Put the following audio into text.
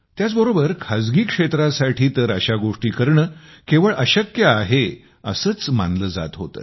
त्याचबरोबर खाजगी क्षेत्रासाठी तर अशा गोष्टी करणे केवळ अशक्य आहेत असेच मानले जात होते